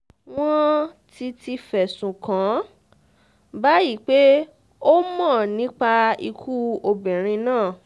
wọ́n ti ti fẹ̀sùn kàn án báyìí pé ó mọ̀ nípa ikú obìnrin náà